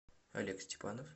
олег степанов